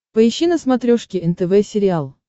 поищи на смотрешке нтв сериал